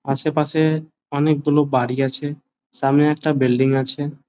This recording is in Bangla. আশেপাশে অনেক গুলো বাড়ি আছে সামনে একটা বিল্ডিং আছে।